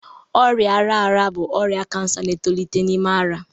Ọrịa ara ara bụ ọrịa kansa na-etolite n'ime ara